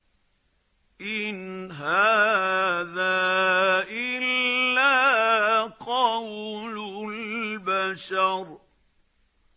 إِنْ هَٰذَا إِلَّا قَوْلُ الْبَشَرِ